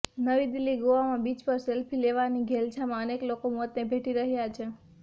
નવી દિલ્હીઃ ગોવામાં બીચ પર સેલ્ફી લેવાની ઘેલછામાં અનેક લોકો મોતને ભેટી રહ્યા છે